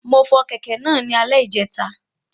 Mo fọ kẹ̀kẹ́ náà ní alè ìjẹta